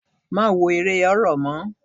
Má wo eré horror mọ́.